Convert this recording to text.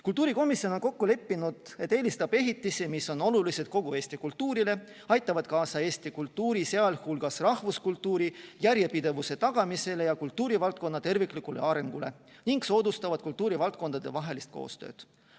Kultuurikomisjon on kokku leppinud, et eelistab ehitisi, mis on olulised kogu Eesti kultuurile, aitavad kaasa Eesti kultuuri, sh rahvuskultuuri järjepidevuse tagamisele ja kultuurivaldkonna terviklikule arengule ning soodustavad kultuurivaldkondade koostööd.